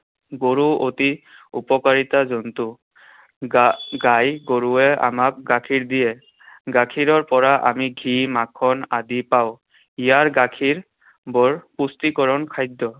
গৰু অতি উপকাৰিতা জন্তু। গা~ গাই গৰুৱে আমাক গাখীৰ দিয়ে। গাখীৰৰ পৰা আমি ঘী, মাখন আদি পাওঁ। ইয়াৰ গাখীৰ বৰ পুষ্টিকৰণ খাদ্য।